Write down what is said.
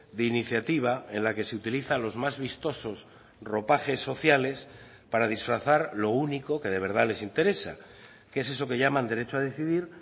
de iniciativa en la que se utilizan los más vistosos ropajes sociales para disfrazar lo único que de verdad les interesa que es eso que llaman derecho a decidir